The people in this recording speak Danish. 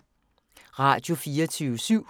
Radio24syv